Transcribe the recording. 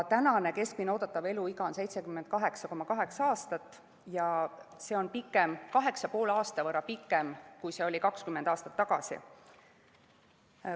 Keskmine oodatav eluiga on 78,8 aastat ja see on 8,5 aasta võrra pikem, kui see oli 20 aastat tagasi.